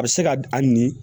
A bɛ se ka a ni